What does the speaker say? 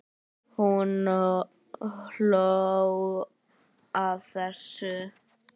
Hún hló að þessu.